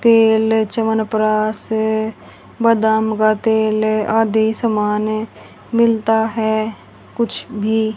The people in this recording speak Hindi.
तेल चवनप्राश है बदाम का तेल है आदि सामान है मिलता है कुछ भी --